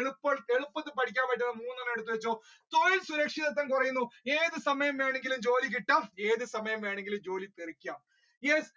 എളുപ്പത്തിൽ പഠിക്കാൻ പറ്റുന്ന മൂന്നണ്ണം എഴുതി വെച്ചോ സ്വയം സുരക്ഷിത കുറയുന്നു ഏതു സമയം ജോലി കിട്ടാം ഏതു സമയം വേണമെങ്കിലും ജോലിപോകാം